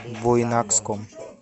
буйнакском